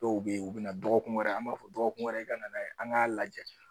Dɔw bɛ yen u bɛ na dɔgɔkun wɛrɛ an b'a fɔ dɔgɔkun wɛrɛ i ka na n'a ye an k'a lajɛ